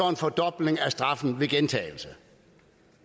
en fordobling af straffen ved gentagelse